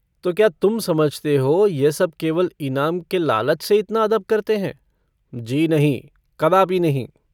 तो क्या तुम समझते हो यह सब केवल इनाम के लालच से इतना अदब करते हैं जी नहीं कदापि नहीं।